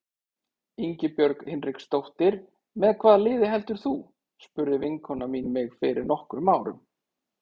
Ingibjörg Hinriksdóttir Með hvaða liði heldur þú? spurði vinkona mín mig fyrir nokkrum árum.